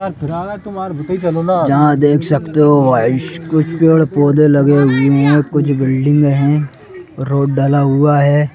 यहाँ देख सकते हो भाई कुछ पेड़ पौधे लगे हुए हैं कुछ बिल्डिंग हैं रोड डाला हुआ है।